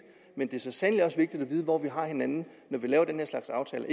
men det er så sandelig også vigtigt at vide hvor vi har hinanden når vi laver den slags aftaler